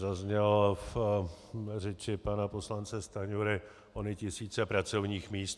Zazněly v řeči pana poslance Stanjury - ony tisíce pracovních míst.